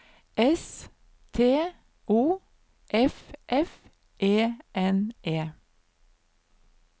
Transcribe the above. S T O F F E N E